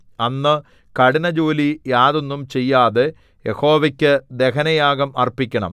അന്ന് കഠിന ജോലി യാതൊന്നും ചെയ്യാതെ യഹോവയ്ക്കു ദഹനയാഗം അർപ്പിക്കണം